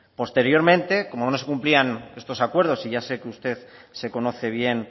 posteriormente como no se cumplían estos acuerdo y ya sé que usted se conoce bien